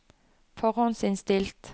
forhåndsinnstilt